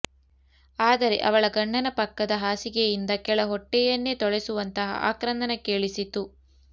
ಆದರೆ ಅವಳ ಗಂಡನ ಪಕ್ಕದ ಹಾಸಿಗೆಯಿಂದ ಕೆಳಹೊಟ್ಟೆಯನ್ನೇ ತೊಳೆಸುವಂತಹ ಆಕ್ರಂದನ ಕೇಳಿಸಿತು